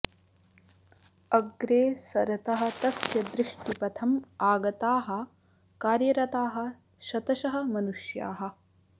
अग्रे सरतः तस्य दृष्टिपथम् आगताः कार्यरताः शतशः मनुष्याः